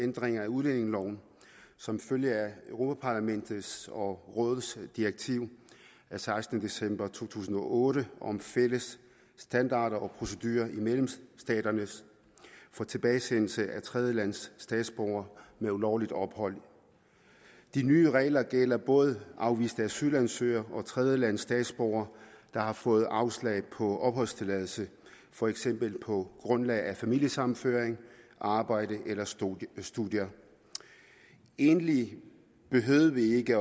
ændringer af udlændingeloven som følge af europa parlamentets og rådets direktiv af sekstende december to tusind og otte om fælles standarder og procedurer i medlemsstaterne for tilbagesendelse af tredjelandsstatsborgere med ulovligt ophold de nye regler gælder både afviste asylansøgere og tredjelandsstatsborgere der har fået afslag på opholdstilladelse for eksempel på grundlag af familiesammenføring arbejde eller studier studier egentlig behøvede vi ikke